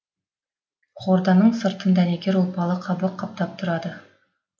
хорданың сыртын дәнекер ұлпалы қабық қаптап тұрады